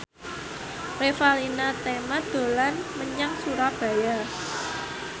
Revalina Temat dolan menyang Surabaya